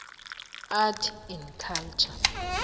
arts and culture